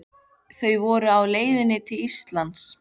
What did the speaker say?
Þau voru á leið til Íslands.